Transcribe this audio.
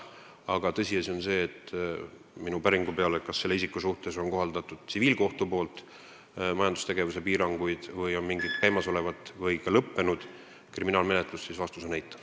Aga tõsiasi on see, et minu päringu peale, kas tsiviilkohus on tema suhtes kohaldanud majandustegevuse piiranguid ja kas on käimas või lõppenud kriminaalmenetlusi, tuli vastus eitav.